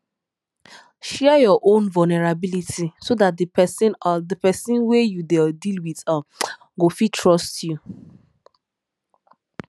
share your own vulnerability so dat di person di person wey you dey deal with um go fit trust you